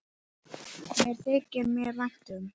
Það þykir mér vænt um.